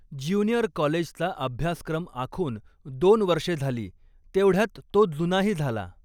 Junior कॉलेजचा अभ्यासक्रम आखून दोन वर्षे झाली, तेवढ्यात तो जुनाही झाला.